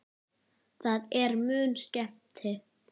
Það er mun skemmti